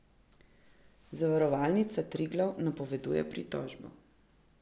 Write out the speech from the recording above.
Zavarovalnica Triglav napoveduje pritožbo.